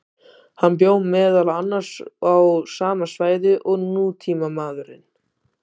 Hann bjó meðal annars á sama svæði og nútímamaðurinn.